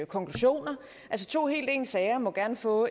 konklusioner altså to helt ens sager må gerne få